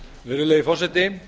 virðulegi forseti